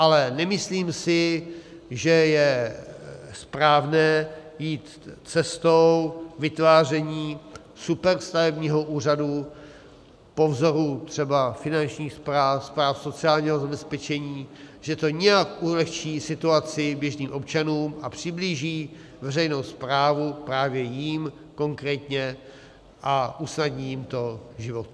Ale nemyslím si, že je správné jít cestou vytváření superstavebního úřadu po vzoru třeba finančních správ, správ sociálního zabezpečení, že to nějak ulehčí situaci běžným občanům a přiblíží veřejnou správu právě jím konkrétně a usnadní jim to život.